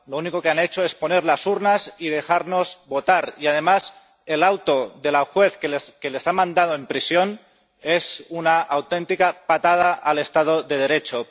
Lo único que han hecho es poner las urnas y dejarnos votar, y, además, el auto de la juez que les ha mandado a prisión es una auténtica patada al Estado de Derecho.